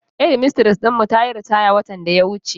Shedmistres din mu tayi ritaya watan daya wuce.